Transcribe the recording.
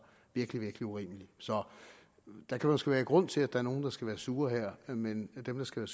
virkelig virkelig urimeligt så der kan måske være grund til at der er nogle der skal være sure her men dem der skal